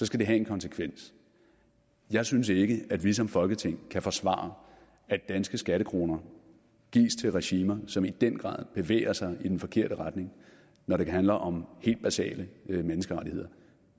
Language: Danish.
skal det have en konsekvens jeg synes ikke at vi som folketing kan forsvare at danske skattekroner gives til regimer som i den grad bevæger sig i den forkerte retning når det handler om helt basale menneskerettigheder